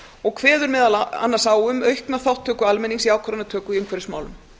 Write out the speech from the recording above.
og kveður meðal annars á um aukna þátttöku almennings í ákvarðanatöku í umhverfismálum